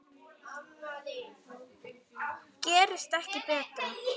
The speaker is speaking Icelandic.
Gerist ekki betra.